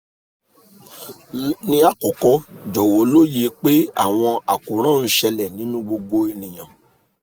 ni akọkọ jọwọ loye pe awọn akoran n ṣẹlẹ ninu gbogbo eniyan